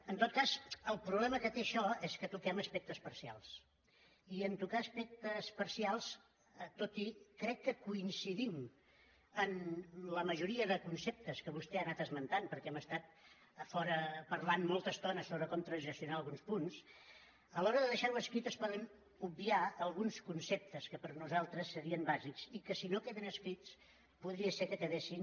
en tot cas el problema que té això és que toquem aspectes parcials i en tocar aspectes parcials tot i que crec que coincidim en la majoria de conceptes que vostè ha anat esmentant perquè hem estat a fora parlant molta estona sobre com transaccionar alguns punts a l’hora de deixar ho escrit es poden obviar alguns conceptes que per nosaltres serien bàsics i que si no queden escrits podria ser que quedessin